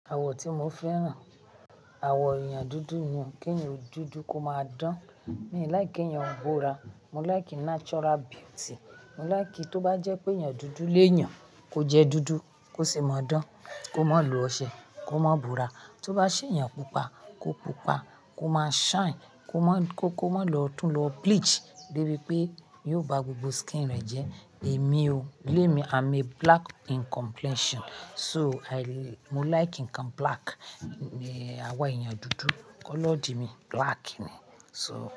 Àwọ̀ tí mo fẹ́ràn, àwọ̀ èèyàn dúdú ni, kí èèyàn dúdú kó máa dán. Mi n like kí èèyàn búra, mo like natural beauty. Mo like tó bá jẹ́ pé èèyàn dúdú léèyàn, kó jẹ dúdú, kó ṣi mọ dán, kó má lo ọṣẹ, kó má bora. Tó bá ṣe èèyàn pupa, kó pupa, kó má shine, kó má lọ tún lọ bleach débi pé yóò ba gbogbo skin rẹ̀ jẹ́. Èmi o, lé mi, I'm a black in complexion. So, mo like nǹkan black, àwọ̀ èèyàn dúdú, kọ́lọ̀ di mi, black ni. So.